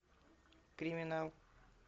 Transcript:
криминал